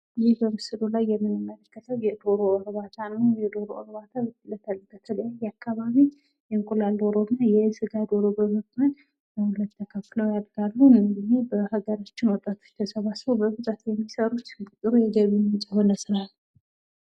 ይህ በምስሉ ላይ የምንመለከተው የዶሮ እርባታ ነው። የዶሮ እርባታ በተለያየ አካባቢ የእንቁላል ደሮና የስጋ ደሮ በመባል ለሁለት ተከፍለው ያድጋሉ። እነዚህ በአገራችን ወጣቶች ተሰባስበው በብዛት የሚሰሩት ጥሩ የገቢ ምንጭ የሆነ ስራ ነው።